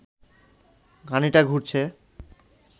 ঘানিটা ঘুরছে